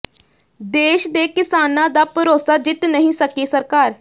ਦੇਸ਼ ਦੇ ਕਿਸਾਨਾਂ ਦਾ ਭਰੋਸਾ ਜਿੱਤ ਨਹੀਂ ਸਕੀ ਸਰਕਾਰ